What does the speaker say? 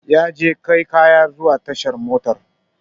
Yaje kai kaya tashar mota